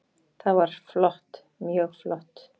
Það var flott, mjög flott.